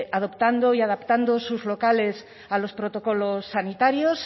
adoptando y adaptando sus locales a los protocolos sanitarios